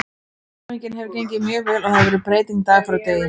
Endurhæfingin hefur gengið mjög vel og það hefur verið breyting dag frá degi.